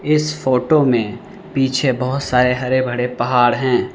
इस फोटो में पीछे बहोत सारे हरे भरे पहाड़ हैं।